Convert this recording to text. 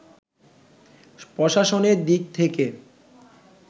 প্রশাসনের দিক থেকে